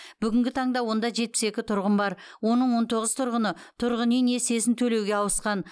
бүгінгі таңда онда жетпіс екі тұрғын бар оның он тоғыз тұрғыны тұрғын үй несиесін төлеуге ауысқан